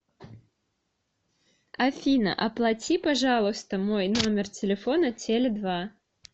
афина оплати пожалуйста мой номер телефона теле два